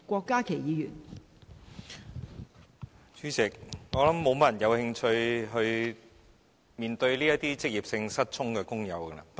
代理主席，我想沒有太多人有興趣面對職業性失聰的工友。